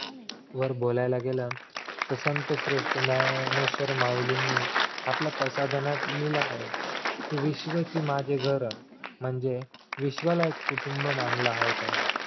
वर बोलायला गेलं संत श्रेष्ठ ज्ञानेश्वर माउलींनी आपल्या पसायदानात लिहिलेल आहे कि विश्वाची माझे घर म्हणजे विश्वाला एक कुटुंब मानला आहे त्यांनी